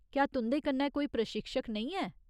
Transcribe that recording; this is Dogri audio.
क्या तुं'दे कन्नै कोई प्रशिक्षक नेईं ऐ?